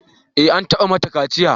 Eh, an taɓa mata kaciya